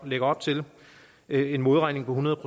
lægger op til en modregning på hundrede